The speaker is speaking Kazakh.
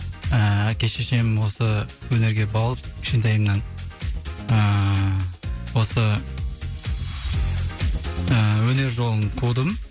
ііі әке шешем осы өнерге баулып кішкентайымнан ыыы осы ыыы өнер жолын қудым